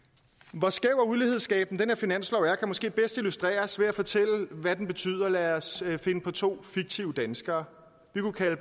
hvor skæv og ulighedsskabende den her finanslov er kan måske bedst illustreres ved at fortælle hvad den betyder lad os finde på to fiktive danskere vi kunne kalde